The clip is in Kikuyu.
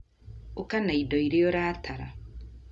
Ũka na indo iria ũratara